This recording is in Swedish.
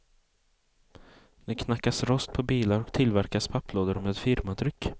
Det knackas rost på bilar och tillverkas papplådor med firmatryck.